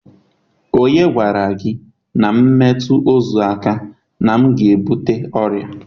Onye gwara gi na m metu ozu aka na m ga-ebute oria?